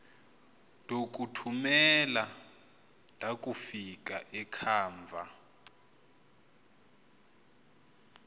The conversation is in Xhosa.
ndokuthumela ndakufika ekhava